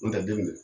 N tɛ den minɛ